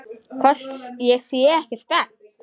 Hvort ég sé ekki spennt?